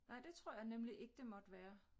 Nej det tror jeg nemlig ikke det måtte være